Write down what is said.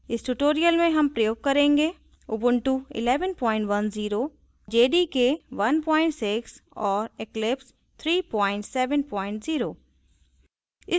इस tutorial में हम प्रयोग करेंगे